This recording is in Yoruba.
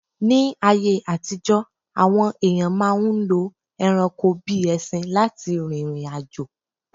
Ní ayé àtijọ́, àwọn èyàn máà ń lo ẹranko bíi ẹṣin lá ti rìrìn àjò.